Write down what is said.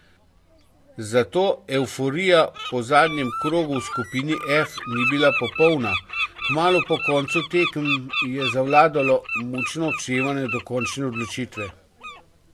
Zato evforija po zadnjem krogu v skupini F ni bila popolna, kmalu po koncu tekem je zavladalo mučno odštevanje do končne odločitve.